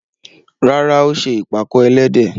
Rárá, ó ṣe ìpàkọ́ ẹlẹ́dẹ̀.